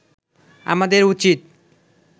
আমাদের উচিত